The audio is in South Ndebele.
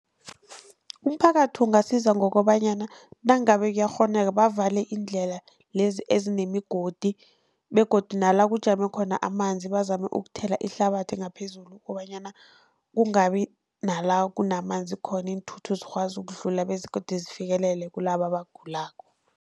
Umphakathi ungasiza ngokobanyana nangabe kuyakghoneka bavale iindlela lezi ezinemigodi begodu nala kujame khona amanzi bazame ukuthela ihlabathi ngaphezulu, kobanyana kungabi nala kunamanzi khona iinthuthi zikwazi ukudlula begodu zifikelele kilaba abagulako.